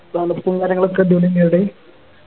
തണുപ്പും കാര്യങ്ങളൊക്കെ അടിപൊളിന്നെയാ അവിടെ